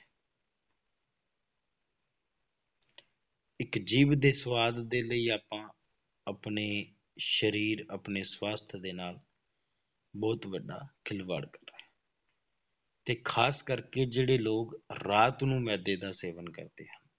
ਇੱਕ ਜੀਭ ਦੇ ਸਵਾਦ ਦੇ ਲਈ ਆਪਾਂ ਆਪਣੇ ਸਰੀਰ ਆਪਣੇ ਸਵਾਸਥ ਦੇ ਨਾਲ ਬਹੁਤ ਵੱਡਾ ਖਿਲਵਾੜ ਕਰ ਰਿਹਾ ਹੈ ਤੇ ਖ਼ਾਸ ਕਰਕੇ ਜਿਹੜੇ ਲੋਕ ਰਾਤ ਨੂੰ ਮਿਹਦੇ ਦਾ ਸੇਵਨ ਕਰਦੇ ਹਨ,